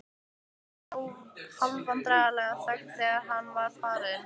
Það var hálfvandræðaleg þögn þegar hann var farinn.